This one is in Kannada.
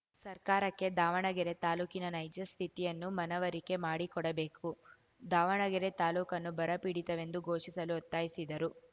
ಸರ್ಕಾರಕ್ಕೆ ದಾವಣಗೆರೆ ತಾಲೂಕಿನ ನೈಜ ಸ್ಥಿತಿಯನ್ನು ಮನವರಿಕೆ ಮಾಡಿಕೊಡಬೇಕು ದಾವಣಗೆರೆ ತಾಲೂಕನ್ನು ಬರ ಪೀಡಿತವೆಂದು ಘೋಷಿಸಲು ಒತ್ತಾಯಿಸಿದರು